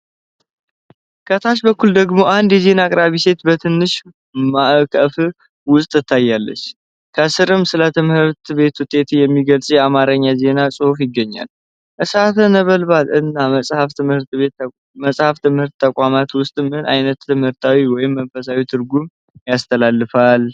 ከታች በኩል ደግሞ አንድ የዜና አቅራቢ ሴት በትንሽ ማዕቀፍ ውስጥ ትታያለች፣ ከሥርም ስለ ትምህርት ቤት ውጤት የሚገልጽ የአማርኛ ዜና ጽሑፍ ይገኛል። እሳት ነበልባል እና መጽሐፍ በትምህርት ተቋም ውስጥ ምን ዓይነት ትምህርታዊ ወይም መንፈሳዊ ትርጉም ያስተላልፋል?